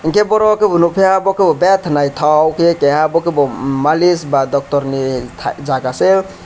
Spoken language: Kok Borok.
hingke boro ke bo nogkeha betaa naitog ke abo kebo malish ba doktor ni tai jaga se.